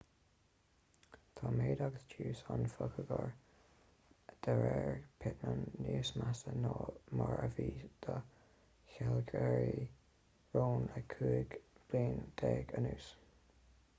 tá méid agus tiús an phacoighir de réir pittman níos measa ná mar a bhí do shealgairí rón le cúig bliana déag anuas